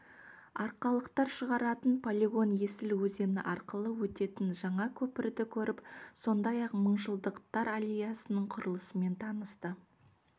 арқалықтар шығаратын полигон есіл өзені арқылы өтетін жаңа көпірді көріп сондай-ақ мыңжылдықтар аллеясының құрылысымен танысты